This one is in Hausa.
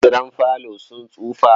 Kujerun falo sun tsufa.